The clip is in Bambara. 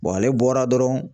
ale bɔra dɔrɔn